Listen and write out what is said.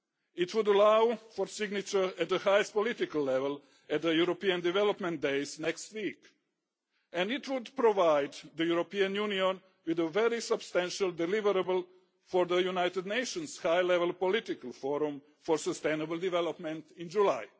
It should allow for signature at the highest political level at the European Development Days next week and it will provide the European Union with a very substantial deliverable for the United Nations high-level political forum on sustainable development in July.